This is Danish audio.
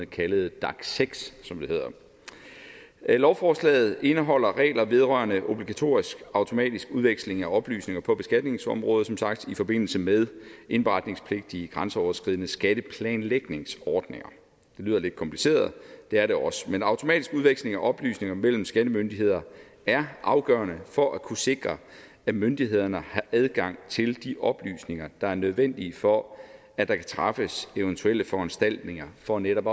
kaldet dac6 lovforslaget indeholder regler vedrørende obligatorisk automatisk udveksling af oplysninger på beskatningsområdet i forbindelse med indberetningspligt i grænseoverskridende skatteplanlægningsordninger det lyder lidt kompliceret det er det også men automatisk udveksling af oplysninger mellem skattemyndigheder er afgørende for at kunne sikre at myndighederne har adgang til de oplysninger der er nødvendige for at der kan træffes eventuelle foranstaltninger for netop